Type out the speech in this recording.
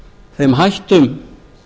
þeim hættum